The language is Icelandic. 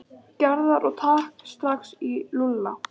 Gerðar og taka strax í Lúlla.